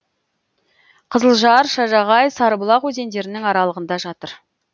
қызылжар шажағай сарыбұлақ өзендерінің аралығында жатыр